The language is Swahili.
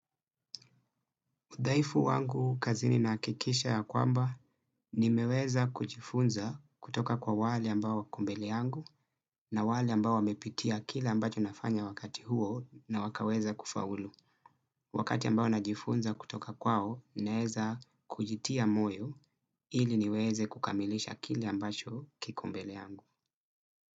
Udhaifu wangu kazini nahakikisha ya kwamba nimeweza kujifunza kutoka kwa wale ambao wako mbele yangu na wale ambao wamepitia kile ambacho nafanya wakati huo na wakaweza kufaulu. Wakati ambao najifunza kutoka kwao, naeza kujitia moyo ili niweze kukamilisha kile ambacho kiko mbele yangu.